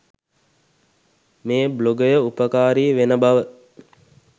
මේ බ්ලොගය උපකාරී වෙන බව